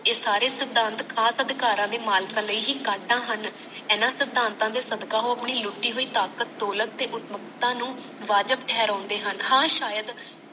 ਇਹ ਸਾਰੇ ਸਿਧਾਂਤ ਖਾਸ ਅਧਿਕਾਰਾਂ ਦੇ ਹੀ ਕਢਦਾ ਹਨ ਇਹਨਾਂ ਸਿਧਾਂਤਾਂ ਦੇ ਸਦਕਾ ਉਹ ਆਪਣੀ ਲੁਟੀ ਹੋਈ ਤਾਕਤ ਦੌਲਤ ਤੇ ਉਸਮਤਾ ਨੂੰ ਵਾਜਬ ਠਹਿਰਾਂਦੇ ਹਨ ਹਾਂ ਸ਼ਾਇਦ